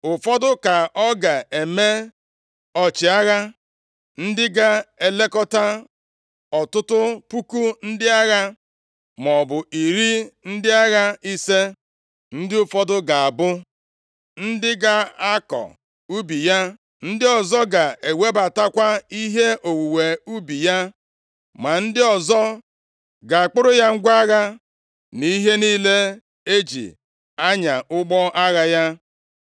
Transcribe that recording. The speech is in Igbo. Ụfọdụ ka ọ ga-eme ọchịagha, ndị ga-elekọta ọtụtụ puku ndị agha, maọbụ iri ndị agha ise; ndị ụfọdụ ga-abụ ndị ga-akọ ubi ya, ndị ọzọ ga-ewebatakwa ihe owuwe ubi ya, ma ndị ọzọ ga-akpụrụ ya ngwa agha na ihe niile e ji anya ụgbọ agha ya.